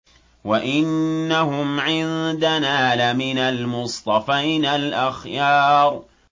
وَإِنَّهُمْ عِندَنَا لَمِنَ الْمُصْطَفَيْنَ الْأَخْيَارِ